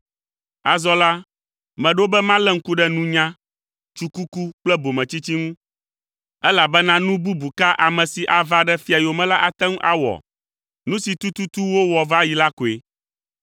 Azɔ la, meɖo be malé ŋku ɖe nunya, tsukuku kple bometsitsi ŋu, elabena nu bubu ka ame si ava ɖe fia yome la ate ŋu awɔ? Nu si tututu wowɔ va yi la koe!